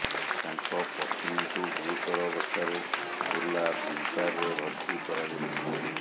ତାଙ୍କ ପତ୍ନୀଙ୍କୁ ଗୁରୁତର ଅବସ୍ଥାରେ ବୁର୍ଲା ଭିମ୍ସାରରେ ଭର୍ତ୍ତି କରାଯାଇଛି